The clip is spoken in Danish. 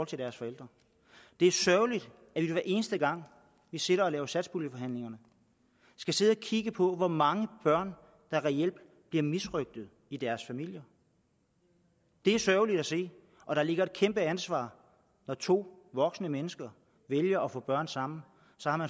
til deres forældre det er sørgeligt at vi hver eneste gang vi sidder i satspuljeforhandlinger skal sidde og kigge på hvor mange børn der reelt bliver misrøgtet i deres familier det er sørgeligt at se og der ligger et kæmpe ansvar når to voksne mennesker vælger at få børn sammen